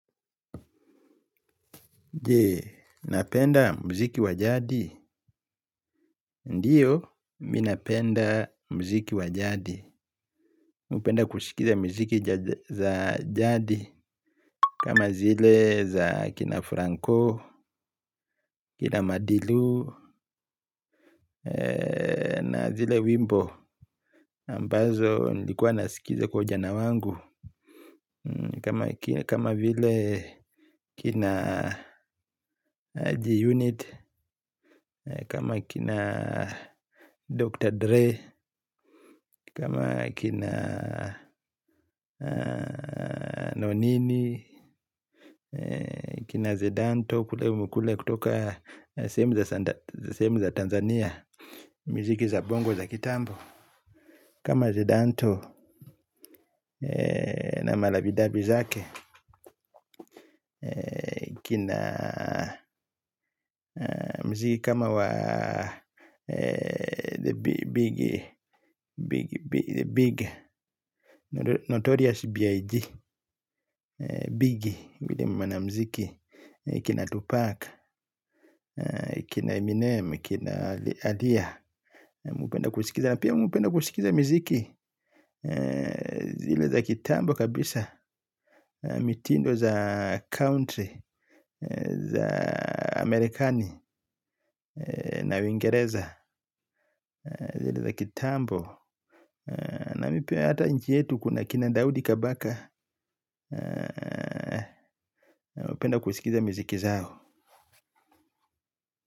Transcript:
Je, napenda mziki wa jadi. Ndiyo, mimi napenda mziki wa jadi napenda kusikiza mziki za jadi. Kama zile za kina Franco, kina Madilu Na zile Wimbo Ambazo nilikuwa nasikiza kwa ujana wangu. Kama vile kina G-Unit. Kama kina Dr. Dre. Kama kina nonini, kina zedanto, kule kule kutoka sehemu za Tanzania miziki za bongo za kitambo. Kama zedanto na marabidabi zake. Kina mziki kama wa the big notorious big Biggie. Kina Tupac. Kina Eminem. Kina Adia. Mimi hupenda kusikiza na pia mmi hupenda kusikiza miziki zile za kitambo kabisa. Mitindo za country Za Amerikani na uingereza zile za kitambo na mimi pia hata nchi yetu kuna kina Daudi kabaka. Mmi hupenda kusikiza miziki zao.